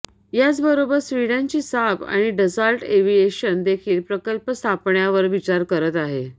याचबरोबर स्वीडनची साब आणि डसाल्ट एव्हिएशन देखील प्रकल्प स्थापण्यावर विचार करत आहे